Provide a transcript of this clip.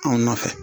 Anw nɔfɛ